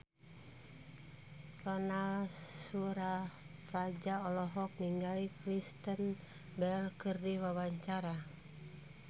Ronal Surapradja olohok ningali Kristen Bell keur diwawancara